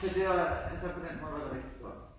Så var var altså på den måde rigtig gjodt